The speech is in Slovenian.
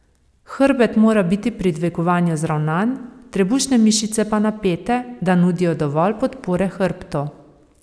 Hrbet mora biti pri dvigovanju zravnan, trebušne mišice pa napete, da nudijo dovolj podpore hrbtu.